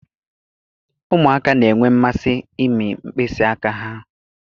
Ụmụaka na-enwe mmasị ịmị mkpịsị aka ha.